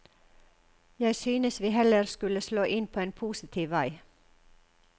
Jeg synes vi heller skulle slå inn på en positiv vei.